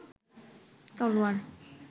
তলোয়ার